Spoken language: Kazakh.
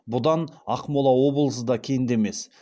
бұдан ақмола облысы да кенде емес